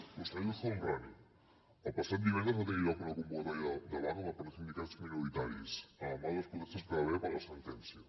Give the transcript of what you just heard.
conseller el homrani el passat divendres va tenir lloc una convocatòria de vaga per part de sindicats minoritaris en el marc de les protestes que hi va haver per la sentència